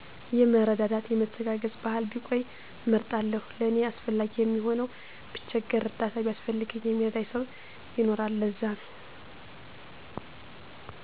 የመረዳዳት የመተጋገዝ ባህል ቢቆይ እመርጣለሁ ለኔ አስፈላጊ የሚሆነዉ ብቸገር እርዳታ ቢያስፈልገኝ የሚረዳኝ ሰዉ ይኖራል ለዛነዉ